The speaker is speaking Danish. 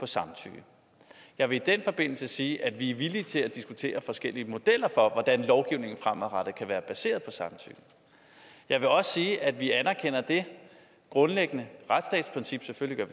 samtykke jeg vil i den forbindelse sige at vi er villige til at diskutere forskellige modeller for hvordan lovgivningen fremadrettet kan være baseret på samtykke jeg vil også sige at vi anerkender det grundlæggende retsstatsprincip selvfølgelig